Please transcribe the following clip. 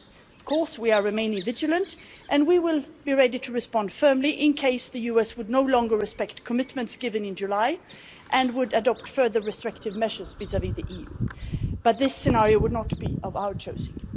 We are of course remaining vigilant and we will be ready to respond firmly in case the US would no longer respect commitments given in July and would adopt further restrictive measures vis-à-vis the EU, but this scenario would not be of our choosing.